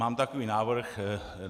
Mám takový návrh.